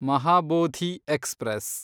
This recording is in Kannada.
ಮಹಾಬೋಧಿ ಎಕ್ಸ್‌ಪ್ರೆಸ್